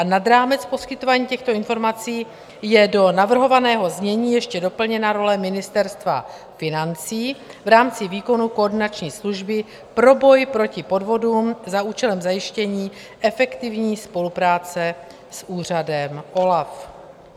Nad rámec poskytování těchto informací je do navrhovaného znění ještě doplněna role Ministerstva financí v rámci výkonu koordinační služby pro boj proti podvodům za účelem zajištění efektivní spolupráce s úřadem OLAF.